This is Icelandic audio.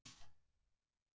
Í fyrsta áfanga já.